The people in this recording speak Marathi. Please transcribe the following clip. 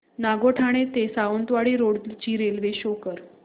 नागोठणे ते सावंतवाडी रोड ची रेल्वे शो कर